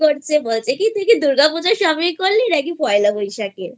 বলছে কি তুই কি দুর্গাপুজো Shopping করলি নাকি পয়লা বৈশাখেI